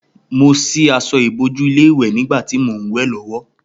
Mo sí aṣọ ìbòju ilé ìwè nígbàtí mò n wè lówó